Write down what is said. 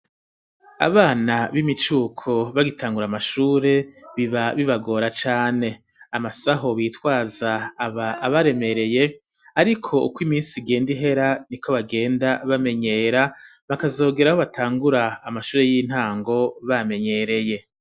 Abana b'imicuko bagitangura amashure biba bibagora cane amasaho bitwaza aba abaremereye ariko uko iminsi igenda ihera niko bagenda bamenyera bakazogera aho batangura amashure y'intango bamenyereye.